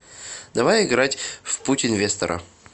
давай играть в путь инвестора